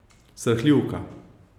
Srhljivka.